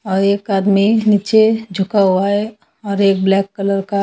औ एक आदमी नीचे झुका हुआ है और एक ब्लैक कलर का--